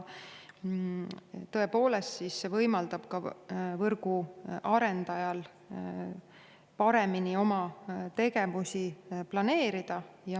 Tõepoolest, see võimaldab võrgu arendajal paremini oma tegevusi planeerida.